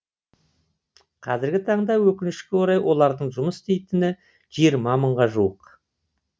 қазіргі таңда өкінішке орай олардың жұмыс істейтіні жиырма мыңға жуық